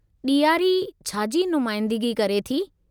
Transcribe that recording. दिवाली छा जी नुमाईंदिगी करे थी?